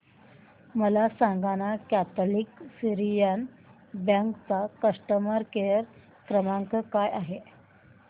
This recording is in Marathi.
मला सांगाना कॅथलिक सीरियन बँक चा कस्टमर केअर क्रमांक काय आहे